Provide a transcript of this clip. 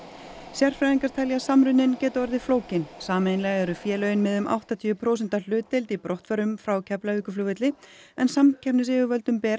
sérfræðingar telja að samruninn geti orðið flókinn sameiginlega eru félögin með um áttatíu prósenta hlutdeild í brottförum frá Keflavíkurflugvelli en samkeppnisyfirvöldum ber